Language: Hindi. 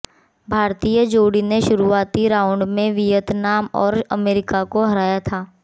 भारतीय जोड़ी ने शुरुआती राउंड में वियतनाम और अमेरिका को हराया था